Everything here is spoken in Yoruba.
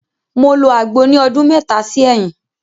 Mo lo agbo ni ọdún mẹta sí ẹyin.